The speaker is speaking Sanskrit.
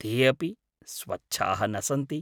ते अपि स्वच्छाः न सन्ति।